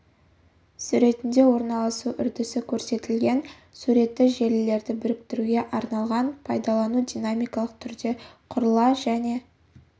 суретінде орналасу үрдісі көрсетілген суреті желілерді біріктіруге арналған пайдалану динамикалық түрде құрыла және